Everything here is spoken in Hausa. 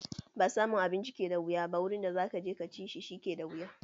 Ba samun abinci ke da wuya ba wurin da zaka je ka ci shi, shi ke da wuya.